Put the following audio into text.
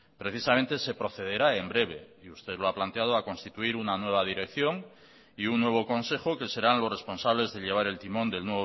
precisamente se procederá en breve y usted lo ha planteado a constituir una nueva dirección y un nuevo consejo que serán los responsables de llevar el timón del